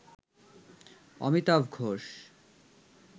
Amitabh Ghosh